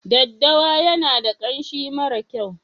Daddawa yana da kanshi mara kyau.